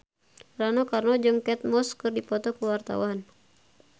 Rano Karno jeung Kate Moss keur dipoto ku wartawan